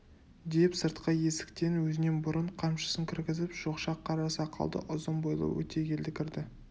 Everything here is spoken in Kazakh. деп сыртқы есіктен өзінен бұрын қамшысын кіргізіп шоқша қара сақалды ұзын бойлы өтегелді кірді